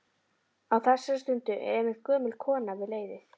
Á þessari stundu er einmitt gömul kona við leiðið.